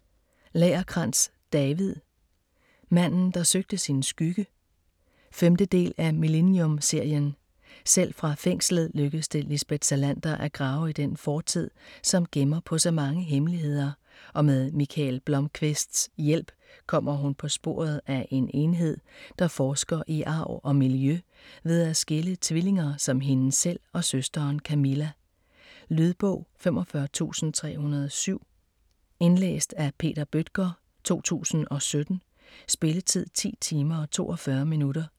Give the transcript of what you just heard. Lagercrantz, David: Manden der søgte sin skygge 5. del af Millennium-serien. Selv fra fængslet lykkes det Lisbeth Salander at grave i den fortid, som gemmer på så mange hemmeligheder, og med Mikael Blomkvists hjælp kommer hun på sporet af en enhed, der forsker i arv og miljø ved at skille tvillinger som hende selv og søsteren Camilla. Lydbog 45307 Indlæst af Peter Bøttger, 2017. Spilletid: 10 timer, 42 minutter.